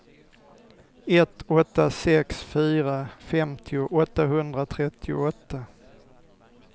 ett åtta sex fyra femtio åttahundratrettioåtta